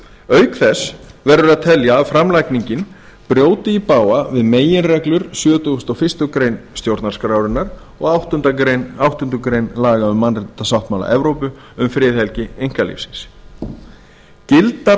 auk þess verður að telja að framlagningin brjóti í bága við meginreglur sjötugasta og fyrstu grein stjórnarskrárinnar og áttundu grein laga um mannréttindasáttmála evrópu um friðhelgi einkalífsins gildar